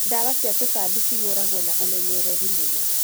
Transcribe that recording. Dawa cia tũtambi cihũragwo na ũmenyereri mũnene